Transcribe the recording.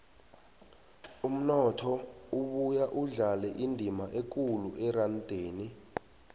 umnotho ubuya udlale indima ekulu erandeni